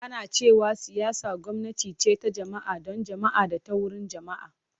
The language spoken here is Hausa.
Ana cewa siyasa gwamnati ce ta jama’a, don jama’a da ta wurin jama’a.